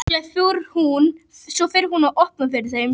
Svo fer hún og opnar fyrir þeim.